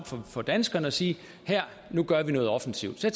for danskerne og sige nu gør vi noget offensivt så